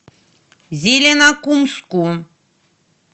зеленокумску